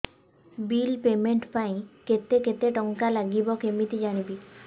bill payment ପାଇଁ କେତେ କେତେ ଟଙ୍କା ଲାଗିବ କେମିତି ଜାଣିବି